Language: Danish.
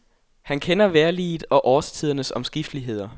Han kender vejrliget og årstidernes omskifteligheder.